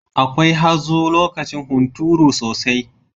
Akwai hazo lokacin hunturu sosai.